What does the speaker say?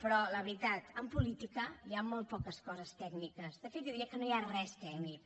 però la veritat en política hi ha molt poques coses tècniques de fet jo diria que no hi ha res tècnic